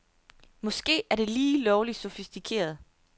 Måske er det lige lovligt sofistikeret.